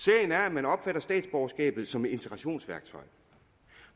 man opfatter statsborgerskabet som et integrationsværktøj